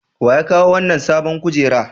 Wa ya kawo wannan sabon kujera?